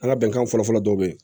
An ka bɛnkan fɔlɔ fɔlɔ dɔ bɛ ye